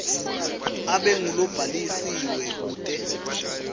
abe ngulobhalisiwe kute